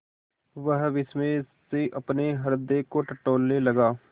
वह विस्मय से अपने हृदय को टटोलने लगा